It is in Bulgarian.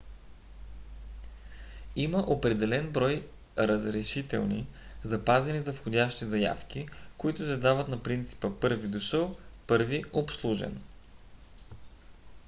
има определен брой разрешителни запазени за входящи заявки които се дават на принципа първи дошъл първи обслужен